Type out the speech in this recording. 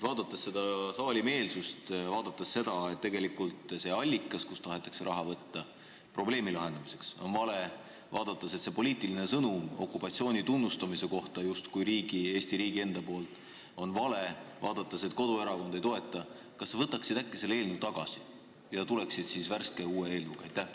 Nähes selle saali meelsust ja teades, et see allikas, kust tahetakse võtta raha probleemi lahendamiseks, on vale, et poliitiline sõnum okupatsiooni tunnustamise kohta justkui Eesti riigi enda poolt on vale, et koduerakond eelnõu ei toeta – kas sa võtaksid äkki selle eelnõu tagasi ja tuleksid meie ette värske, uue eelnõuga?